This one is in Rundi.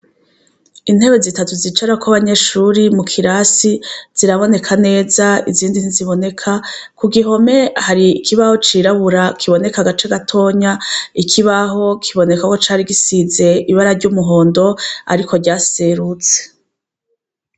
Intebe zitatu zicarako abanyeshure mu kirasi ziraboneka neza izindi ntiziboneka. Ku gihome hari ikibaho cirabura kiboneka agace gatoya, ikibaho kiboneka ko cari gisize ibara ry'umuhondo ariko ryaserutse.